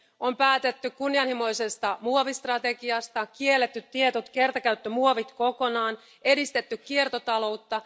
On päätetty kunnianhimoisesta muovistrategiasta, on kielletty tietyt kertakäyttömuovit kokonaan, edistetty kiertotaloutta.